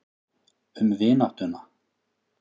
Um vináttuna.